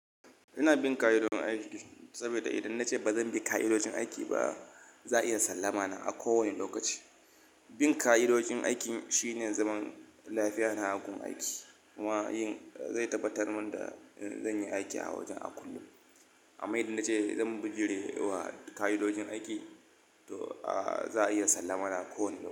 Ina bin ka'idojin aiki saboda idan na ce ba zan bi ka'idojin aiki ba, za a iya sallama na a kowane lokaci. Bin ka'idojin aiki shine zaman lafiya na a gun aiki kuma yin zai tabbatar min da zan yi aiki a wajen a kullum. Amma idan na ce zan bijire wa ka'idojin aiki, to za a iya sallama na kowane.